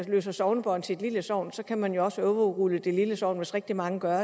løser sognebånd til et lille sogn kan man jo også overrule det lille sogn hvis rigtig mange gør